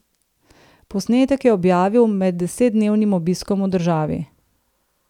Posnetek je objavil med desetdnevnim obiskom v državi.